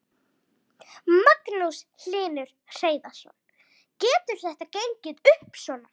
Magnús Hlynur Hreiðarsson: Getur þetta gengið upp svona?